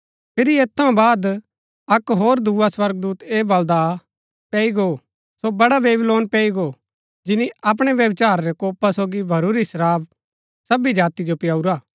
फिरी ऐत थऊँ बाद अक्क होर दुआ स्वर्गदूत ऐह बलदा आ पैई गो सो बड़ा बेबीलोन पैई गो जिनी अपणै व्यभिचार रै कोपा सोगी भरूरी शराब सबी जाति जो पियाऊरा